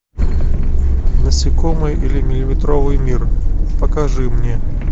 насекомые или миллиметровый мир покажи мне